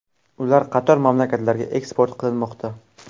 Ular qator mamlakatlarga eksport qilinmoqda.